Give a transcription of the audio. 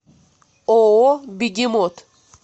ооо бегемот